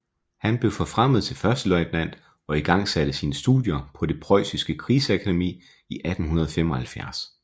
Han blev forfremmet til førsteløjtnant og igangsatte sine studier på det Prøjsiske Krigsakademi i 1875